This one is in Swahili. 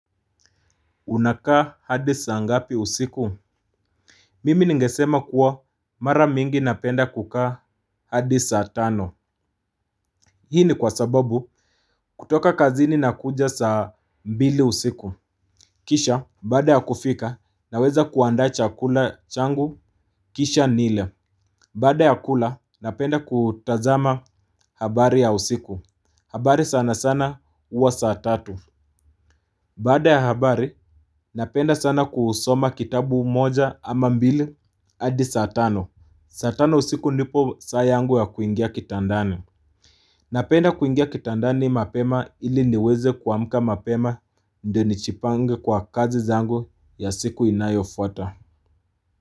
Unakaa hadi saa ngapi usiku mimi ningesema kuwa mara mingi napenda kukaa hadisa atano hii ni kwa sababu kutoka kazini na kuja sa mbili usiku kisha baada ya kufika naweza kuanda chakula changu kisha nile baada ya kula napenda kutazama habari ya usiku habari sana sana uwa sa tatu baada ya habari. Napenda sana kusoma kitabu moja ama mbili adi saa tano. Saa tano usiku nipo saa yangu ya kuingia kitandani. Napenda kuingia kitandani mapema ili niweze kuamka mapema ndio ni chipange kwa kazi zangu ya siku inayo fuata.